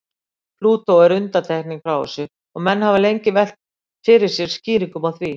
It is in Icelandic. Plútó er undantekning frá þessu og menn hafa lengi velt fyrir sér skýringum á því.